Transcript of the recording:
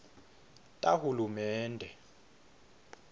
tahulumende